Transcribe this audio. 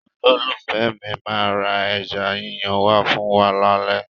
Olólùfẹ́ mi máa ra ẹja yíyan wá fún wa lálẹ́.